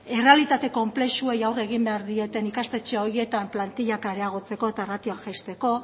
errealitate konplexuei aurre egin behar dieten ikastetxe horietan plantilak areagotzeko eta ratioa jaisteko